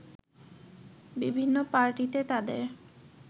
বিভিন্ন পার্টিতে তাদের